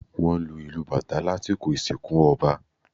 Wọ́n lu ìlù Batá lasikọ ìsinkú ọba